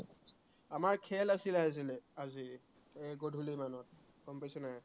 আমাৰ খেল আছিলে আজিলে আজি এৰ গধূলিমানত গম পাইছ নাই